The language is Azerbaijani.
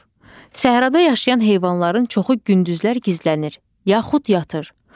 Səhrada yaşayan heyvanların çoxu gündüzlər gizlənir, yaxud yatır.